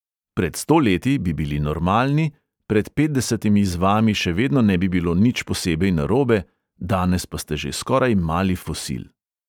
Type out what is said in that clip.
Pred sto leti bi bili normalni, pred petdesetimi z vami še vedno ne bi bilo nič posebej narobe, danes pa ste že skoraj mali fosil.